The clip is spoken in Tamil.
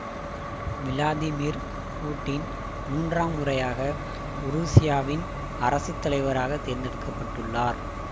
விளாதிமிர் பூட்டின் மூன்றாம் முறையாக உருசியாவின் அரசுத்தலைவராகத் தேர்ந்தெடுக்க பட்டுள்ளார்